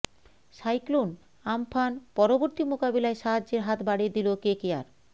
cyclone Amphan পরবর্তী মোকাবিলায় সাহায্যের হাত বাড়িয়ে দিল কেকেআর